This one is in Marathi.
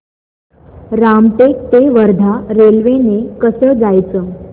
रामटेक ते वर्धा रेल्वे ने कसं जायचं